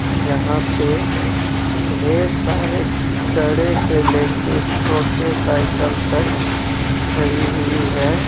यहां पे ढेर सारे बड़े से लेके छोटे साइकिल तक खड़ी हुई है.